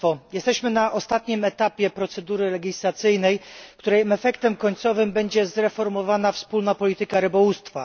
Jesteśmy na ostatnim etapie procedury legislacyjnej, której efektem końcowym będzie zreformowana wspólna polityka rybołówstwa.